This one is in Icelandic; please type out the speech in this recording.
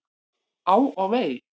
Á og vei!